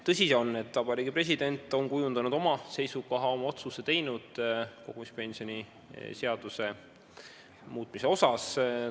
Tõsi on, et Vabariigi President on kujundanud oma seisukoha, oma otsuse teinud kogumispensioni seaduse muutmise osas.